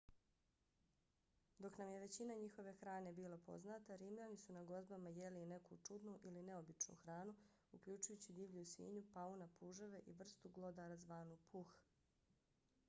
dok nam je većina njihove hrane bila poznata rimljani su na gozbama jeli i neku čudnu ili neobičnu hranu uključujući divlju svinju pauna puževe i vrstu glodara zvanu puh